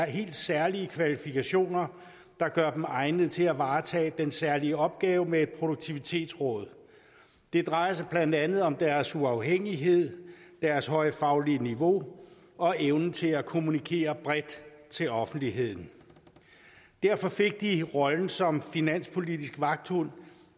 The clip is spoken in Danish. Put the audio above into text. helt særlige kvalifikationer der gør dem egnede til at varetage den særlige opgave med produktivitetsrådet det drejer sig blandt andet om deres uafhængighed deres høje faglige niveau og evnen til at kommunikere bredt til offentligheden derfor fik de rollen som finanspolitisk vagthund